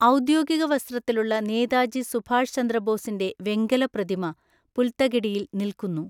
ഔദ്യോഗിക വസ്ത്രത്തിലുള്ള നേതാജി സുഭാഷ് ചന്ദ്രബോസിന്റെ വെങ്കല പ്രതിമ പുൽത്തകിടിയിൽ നിൽക്കുന്നു.